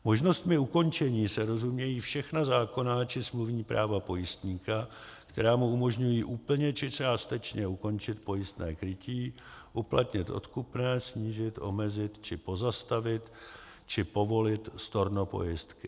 Možnostmi ukončení se rozumějí všechna zákonná či smluvní práva pojistníka, která mu umožňují úplně či částečně ukončit pojistné krytí, uplatnit odkupné, snížit, omezit či pozastavit či povolit storno pojistky.